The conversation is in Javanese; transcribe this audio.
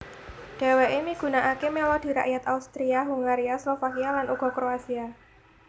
Dheweke migunakake melodi rakyat Austria Hungaria Slovakia lan uga Kroasia